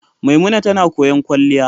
Maimuna tana koyon kwalliya.